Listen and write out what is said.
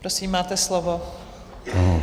Prosím, máte slovo.